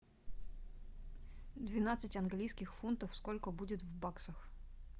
двенадцать английских фунтов сколько будет в баксах